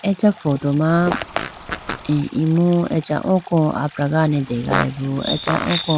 Acha photo ma imu acha oko apragane degayibo acha oko.